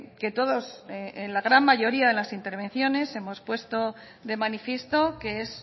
que todos en la gran mayoría de las intervenciones hemos puesto de manifiesto que es